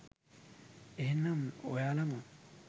එහෙමනම් ඔයාලම